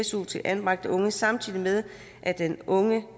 su til anbragte unge samtidig med at den unge